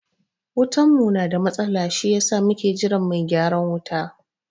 Wutan mu na da matsala si yasa muke jiran mai gyaran wuta